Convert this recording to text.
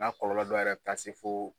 kɔlɔlɔ dɔw yɛrɛ bɛ taa se fo